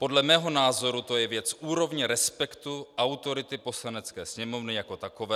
Podle mého názoru to je věc úrovně respektu, autority Poslanecké sněmovny jako takové.